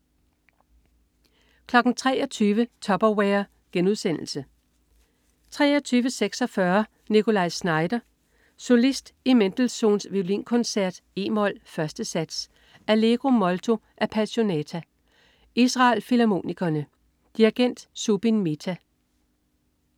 23.00 Tupperware* 23.46 Nikolaj Znaider. Solist i Mendelssohns Violinkoncert, e-mol, 1. sats, Allegro molto appasionato. Israel Filharmonikerne. Dirigent: Zubin Mehta.